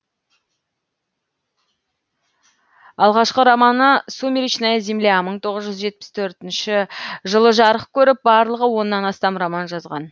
алғашқы романы сумречная земля мың тоғыз жүз жетпіс төртінші жарық көріп барлығы оннан астам роман жазған